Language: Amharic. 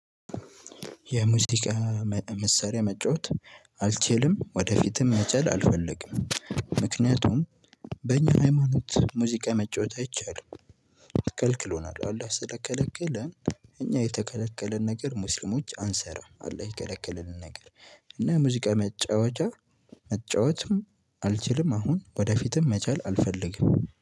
የሙዚቃ መሰሪያ መጫወት አልችልም ወደፊትም መቻል አልፈልግም። ምክንያቱም በእኛ ሃይማኖት ሙዚቃ መጫወት አይቻልም ከልክሎናል አላህ ስለከለከለን። እኛ የተከለከለን ነገር ሙስሊሞች አንሰራም አላህ የከለከለንን ነገር። እና ሙዚቃ መጫወቻ መጫወትም አልችልም። አሁን ወደፊትም መቻል አልፈልግም